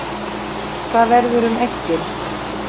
Hvað verður um eggin?